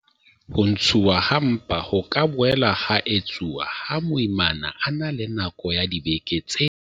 Ho ntshuwa ha mpa ho ka boela ha etsuwa ha moimana a na le nako ya dibeke tse